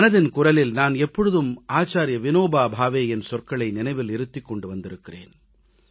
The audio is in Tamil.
மனதின் குரலில் நான் எப்பொழுதும் ஆச்சார்ய விநோபா பாவேயின் சொற்களை நினைவில் இருத்திக் கொண்டு வந்திருக்கிறேன்